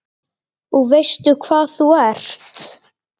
Og veistu hvað þú ert?